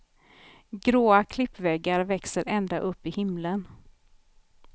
Gråa klippväggar växer ända upp i himmelen.